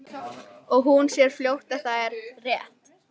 Og hún sér fljótt að það er rétt.